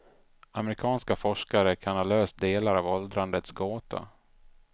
Amerikanska forskare kan ha löst delar av åldrandets gåta.